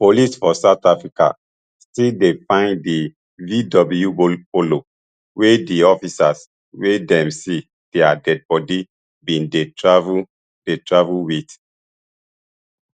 police for south africa still dey find di vw polo wey di officers wey dem see dia deadibody bin dey travel dey travel wit